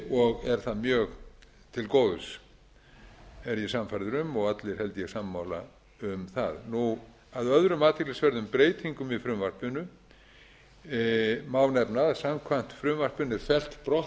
og er það mjög til góðs er ég sannfærður um og allir held ég sammála um það af öðrum athyglisverðum breytingum í frumvarpinu má nefna að samkvæmt frumvarpinu er fellt brott